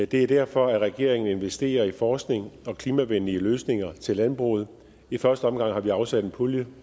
det er derfor at regeringen investerer i forskning og klimavenlige løsninger til landbruget i første omgang har vi afsat en pulje